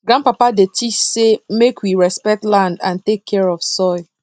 grandpapa dey teach say make we respect land and take care of soil